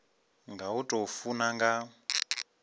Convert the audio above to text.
nga u tou funa nga